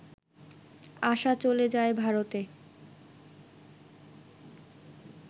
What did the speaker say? আশা চলে যায় ভারতে